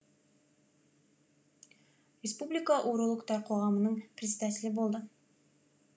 республика урологтар қоғамының председателі болды